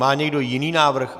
Má někdo jiný návrh?